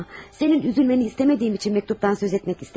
Sənin üzülməni istəmədiyim üçün məktubdan söz etmək istəmədim.